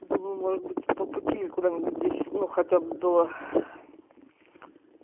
думаю может быть по пути или куда-нибудь здесь ну хотя бы до